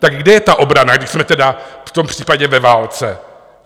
Tak kde je ta obrana, když jsme tedy v tom případě ve válce?